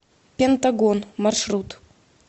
пентагон маршрут